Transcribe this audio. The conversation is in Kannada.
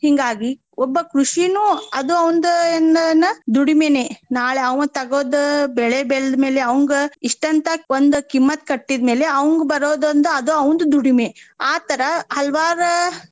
ಹಿಂಗಾಗಿ ಒಬ್ಬ ಕೃಷಿನು ಅದು ಅವಂದ ಏನ್~ ಏನು ದುಡಿಮೆನೆ. ನಾಳೆ ಆಂವ ತಗದ್ ಬೆಳೆ ಬೆಳದ್ ಮೇಲೆ ಆಂವಂಗ ಇಷ್ಟ ಅಂತ ಒಂದ್ ಕಿಮ್ಮತ್ತ ಕಟ್ಟಿದ್ ಮೇಲೆ ಆವಂಗ ಬರೋದ್ ಅಂದ್ರ ಅದು ಆವಂದ್ ದುಡಿಮೆ. ಆ ತರಾ ಹಲವಾರ್.